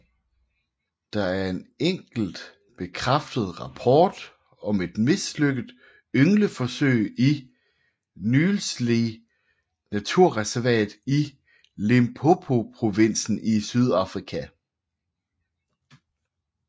Der er en enkelt bekræftet rapport om et mislykket yngleforsøg i Nylsvley naturreservat i Limpopoprovinsen i Sydafrika